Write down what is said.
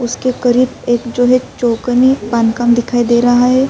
اسکے کریب ایک جو ہے چوکنی دکھائی دے رہا ہے۔